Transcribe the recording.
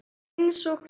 Einsog þú.